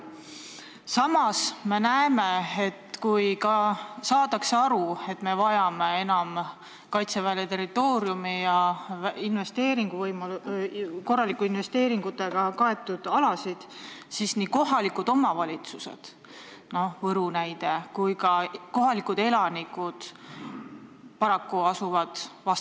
Samas me näeme, et isegi kui saadakse aru, et Kaitsevägi vajab enam territooriumi ja korralike investeeringutega kaetud alasid, asuvad nii kohalikud omavalitsused kui ka kohalikud elanikud paraku vastasleeri.